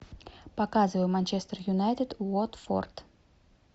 показывай манчестер юнайтед уотфорд